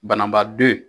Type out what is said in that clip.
Banabaado ye